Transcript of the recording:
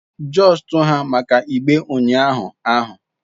Just ha maka igbe unyahu ahu